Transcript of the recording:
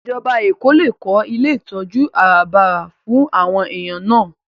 Ìjọba Èkó lè kó ilé ìtọ́jú àràbarà fún àwọn èèyàn náà